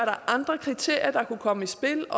er andre kriterier der kunne komme i spil